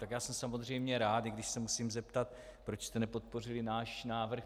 Tak já jsem samozřejmě rád, i když se musím zeptat, proč jste nepodpořili náš návrh.